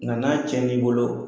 Ŋa n'a tiɲɛn'i bolo